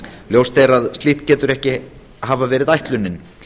ljóst er að slíkt getur ekki hafa verið ætlunin